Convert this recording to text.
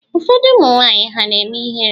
Ụfọdụ ụmụnwanyị ha na-eme ihere?